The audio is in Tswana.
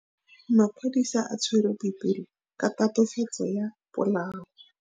Maphodisa a tshwere Boipelo ka tatofatsô ya polaô.